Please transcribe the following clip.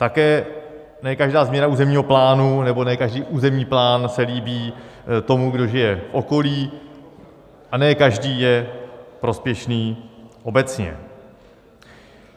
Také ne každá změna územního plánu nebo ne každý územní plán se líbí tomu, kdo žije v okolí, a ne každý je prospěšný obecně.